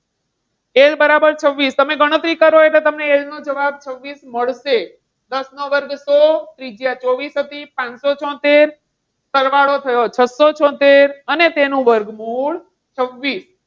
L બરાબર છવ્વીસ તમે ગણતરી કરો એટલે તમને એનો જવાબ છવ્વીસ મળશે. દસ નો વર્ગ સો ત્રિજ્યા ચોવીસ હતી. પાંચસો છોતેર, સરવાળો થયો છસો છોતેર અને તેનું વર્ગમૂળ છવ્વીસ.